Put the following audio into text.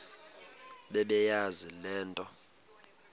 bebeyazi le nto